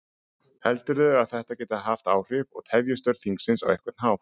Heldurðu að þetta geti haft áhrif og tefji störf þingsins á einhvern hátt?